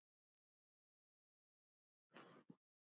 Sama öll við erum kyn.